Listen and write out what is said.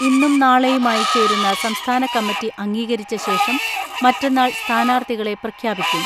ഇന്നും നാളെയുമായി ചേരുന്ന സംസ്ഥാന കമ്മറ്റി അംഗീകരിച്ചശേഷം മറ്റന്നാൾ സ്ഥാനാർത്ഥികളെ പ്രഖ്യാപിക്കും.